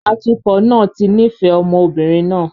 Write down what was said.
Atukọ̀ náà ti nífẹ̀ẹ́ ọmọ obìnrin náà